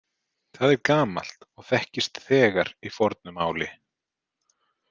Það er gamalt og þekkist þegar í fornu máli.